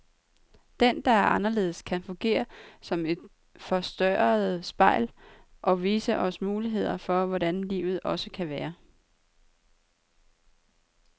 Den, der er anderledes, kan fungere som et forstørrende spejl, og vise os muligheder for hvordan livet også kan være.